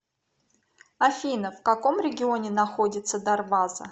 афина в каком регионе находится дарваза